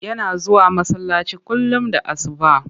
Yana zuwa masallaci kullum da asuba.